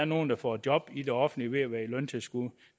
nogen der får job i det offentlige ved at være i løntilskud